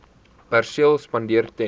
perseel spandeer ten